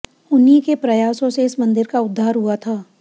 उन्हीं के प्रयासों से इस मंदिर का उद्धार हुआ था